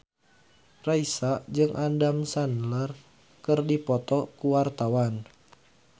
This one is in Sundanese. Raisa jeung Adam Sandler keur dipoto ku wartawan